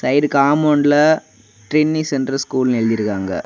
Side காம்பவுன்ட்ல Trinity centre ஸ்கூல்னு எழுதி இருக்காங்க.